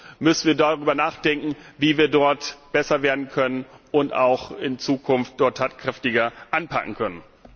Wir müssen darüber nachdenken, wie wir dort besser werden können und in Zukunft dort tatkräftiger anpacken können.